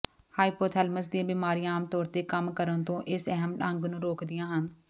hypothalamus ਦੀਆਂ ਬਿਮਾਰੀਆਂ ਆਮ ਤੌਰ ਤੇ ਕੰਮ ਕਰਨ ਤੋਂ ਇਸ ਅਹਿਮ ਅੰਗ ਨੂੰ ਰੋਕਦੀਆਂ ਹਨ